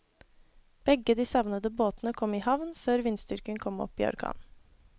Begge de savnede båtene kom i havn før vindstyrken kom opp i orkan.